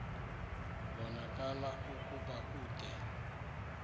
kubonakala ukuba ude